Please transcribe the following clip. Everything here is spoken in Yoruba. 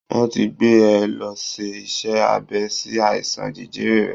Wọ́n ti gbé e lọ ṣe iṣẹ́ abẹ sí àìsàn jẹjẹrẹ rẹ̀